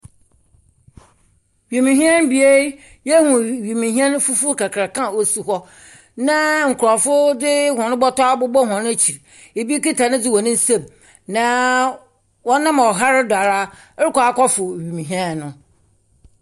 Wiemhyɛn bea yi yɛhu wiemhyɛn fufuo kakra ɔsi hɔ na nkorɔfo de wɔn bɔtɔ abobɔ wɔn akyi, ɛbi kita ne de wɔ ne nsam na ɔnam ɔhare do ara rekɔ akɔ foro wiemhyɛn no.